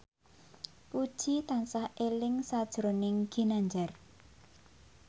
Puji tansah eling sakjroning Ginanjar